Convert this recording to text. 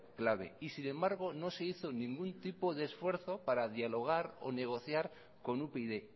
clave y sin embargo no se hizo ningún tipo de esfuerzo para dialogar o negociar con upyd